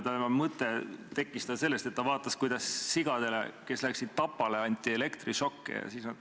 Mõte tekkis tal sellest, et ta vaatas, kuidas sigadele, kes läksid tapale, anti elektrišokke.